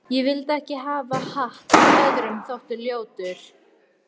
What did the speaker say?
Ég vildi ekki hafa hatt sem öðrum þótti ljótur.